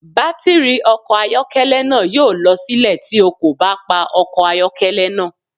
Batiri ọkọ ayọkẹlẹ naa yoo lọ silẹ ti o ko ba pa ọkọ ayọkẹlẹ naa